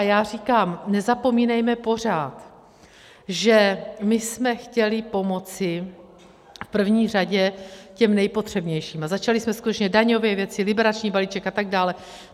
A já říkám, nezapomínejme pořád, že my jsme chtěli pomoci v první řadě těm nejpotřebnějším a začali jsme skutečně daňové věci, liberační balíček atd.